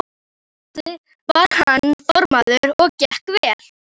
Á þeim báti var hann formaður og gekk vel.